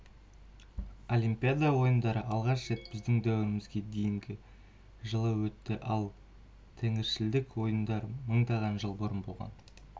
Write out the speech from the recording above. олимпиада ойындары алғаш рет біздің дәуірімізге дейінгі жылы өтті ал тәңіршілдік ойындар мыңдаған жыл бұрын болған